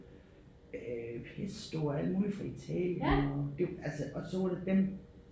Øh pesto og alt muligt fra Italien og det altså og så var det dem